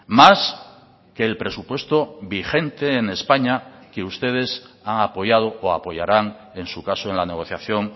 más que el presupuesto vigente en españa que ustedes han apoyado o apoyarán en su caso en la negociación